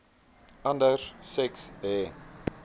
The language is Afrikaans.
anders seks he